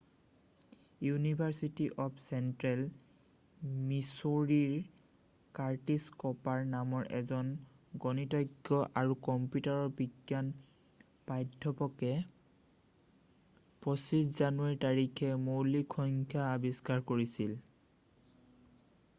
university of Central মিচৌৰীৰ Curtis Cooper নামৰ এজন গণিতজ্ঞ আৰু কম্পিউটাৰ বিজ্ঞান প্ৰাধ্যাপকে 25 জানুৱাৰী তাৰিখে মৌলিক সংখ্যা আৱিষ্কাৰ কৰিছিল